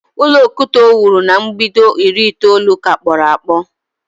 Ulọ okwute o wuru na mbido iri itoolu ka kporo akpo